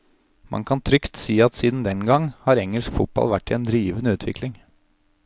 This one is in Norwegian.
Man kan trygt si at siden den gang har engelsk fotball vært i en rivende utvikling.